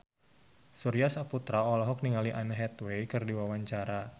Surya Saputra olohok ningali Anne Hathaway keur diwawancara